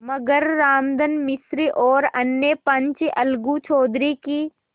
मगर रामधन मिश्र और अन्य पंच अलगू चौधरी की